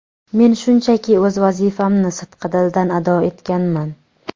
Men shunchaki o‘z vazifamni sidqidildan ado etganman.